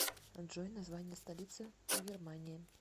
джой название столицы в германии